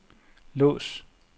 lås